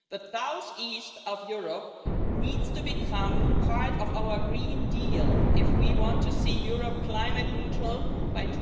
The southeast of Europe needs to become part of our Green Deal if we want to see Europe climate-neutral by